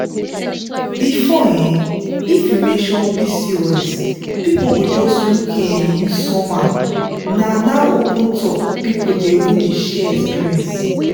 before um if you mention pcos people go just look um you somehow now na open talk people dey even share experience.